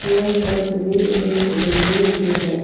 यह तस्वीर एक बिल्डिंग की है।